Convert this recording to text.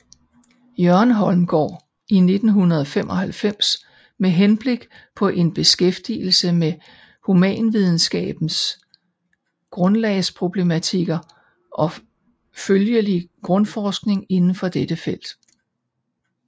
Jørgen Holmgaard i 1995 med henblik på en beskæftigelse med humanvidenskabernes grundlagsproblematikker og følgelig grundforskning indenfor dette felt